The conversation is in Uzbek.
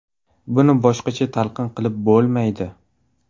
Buni boshqacha talqin qilib bo‘lmaydi.